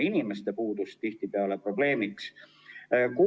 Nii et tihtipeale on probleemiks pigem inimeste puudus.